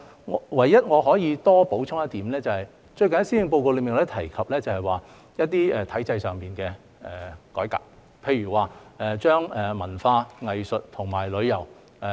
我唯一可以補充的是，最近在施政報告中也提及一些體制上的改革，例如把文化、藝術和旅遊整合。